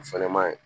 O fɛnɛ maɲi